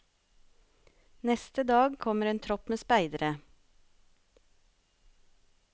Neste dag kommer en tropp med speidere.